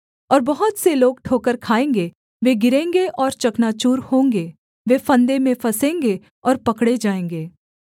और बहुत से लोग ठोकर खाएँगे वे गिरेंगे और चकनाचूर होंगे वे फंदे में फँसेंगे और पकड़े जाएँगे